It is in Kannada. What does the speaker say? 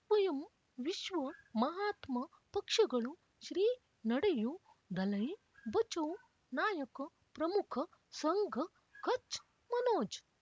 ಸ್ವಯಂ ವಿಶ್ವ ಮಹಾತ್ಮ ಪಕ್ಷಗಳು ಶ್ರೀ ನಡೆಯೂ ದಲೈ ಬಚೌ ನಾಯಕ ಪ್ರಮುಖ ಸಂಘ ಕಚ್ ಮನೋಜ್